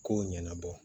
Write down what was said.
Kow ɲɛnabɔ